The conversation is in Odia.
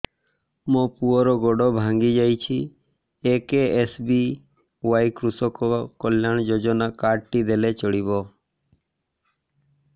ମୋ ପୁଅର ଗୋଡ଼ ଭାଙ୍ଗି ଯାଇଛି ଏ କେ.ଏସ୍.ବି.ୱାଇ କୃଷକ କଲ୍ୟାଣ ଯୋଜନା କାର୍ଡ ଟି ଦେଲେ ଚଳିବ